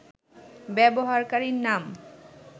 ব্যবহারকারীর নাম